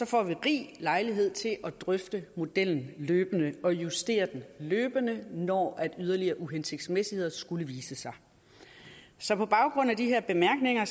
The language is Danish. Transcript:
får vi rig lejlighed til at drøfte modellen løbende og justere den løbende når yderligere uhensigtsmæssigheder skulle vise sig så på baggrund af de her bemærkninger